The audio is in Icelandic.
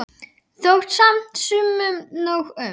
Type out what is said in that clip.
Þótti samt sumum nóg um.